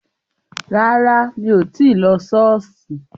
Rárá, mí ò tí lo Ṣọọṣi